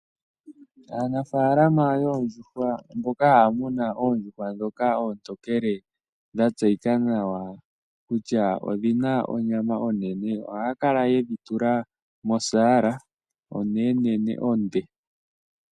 Aanafaalama yoondjuhwa mboka haya munu oondjuhwa ndhoka oontokele dhatseyika nawa kutya odhina onyama onene ohaya kala yedhi tula mosaala onenenene onde.